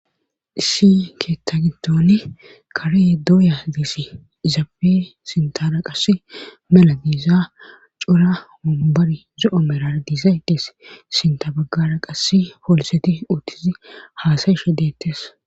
issi keetta gintoni kare dooya diishe izaafe sintara qass mala diiza cura hombari zo7o merar diisaydees sinta baggara qas foliseti uutizi haasayishe deettes